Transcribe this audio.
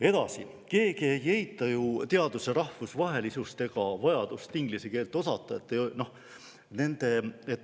Edasi, keegi ei eita ju teaduse rahvusvahelisust ega vajadust inglise keelt osata.